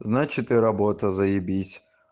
значит и работа з